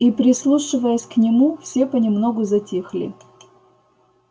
и прислушиваясь к нему все понемногу затихли